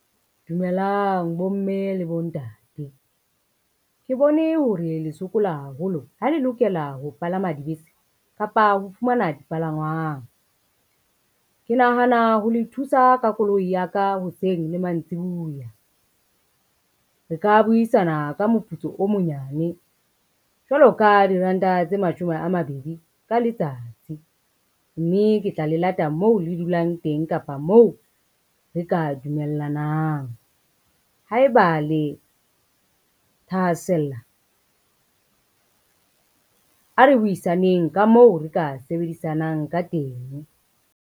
Dumelang bomme le bontate. Ke bone hore le sokola haholo ha le lokela ho palama dibese kapa ho fumana dipalangwang. Ke nahana ho le thusa ka koloi ya ka, hoseng le mantsibiuya. Re ka buisana ka moputso o monyane jwalo ka diranta tse mashome a mabedi ka letsatsi, mme ke tla le lata moo le dulang teng kapa moo re ka dumellanang. Haeba le thahasella ha re buisaneng ka moo re ka sebedisanang ka teng.